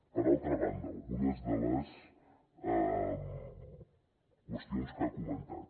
per altra banda algunes de les qüestions que ha comentat